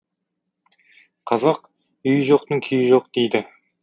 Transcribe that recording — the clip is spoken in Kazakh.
қазақ үйі жоқтың күйі жоқ дейді